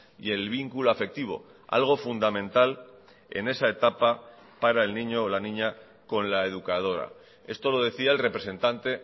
y el vínculo afectivo algo fundamental en esa etapa para el niño o la niña con la educadora esto lo decía el representante